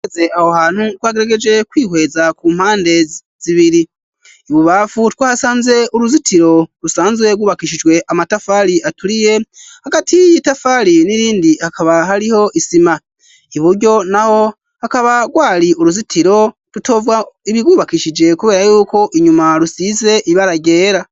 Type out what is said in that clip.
Aze aho hantu ko hagerageje kwihweza ku mpande zibiri ibubafu twa hasanze uruzitiro rusanzwe gubakishijwe amatafari aturiye hagati y'iyo i tafali n'irindi hakaba hariho isima iburyo na ho hakaba gwari uruzitiro rutova ibigubakishije, kubera yuko inyuma rusise ib aragera.